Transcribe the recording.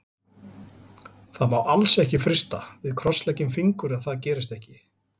Það má alls ekki frysta, við krossleggjum fingur að það gerist ekki.